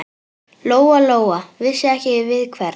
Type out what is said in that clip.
Lóa-Lóa vissi ekki við hvern.